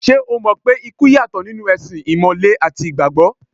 Ṣé o mọ̀ pé ikú yàtọ̀ nínú ẹ̀sìn Ìmàle àti Ìgbàgbọ́?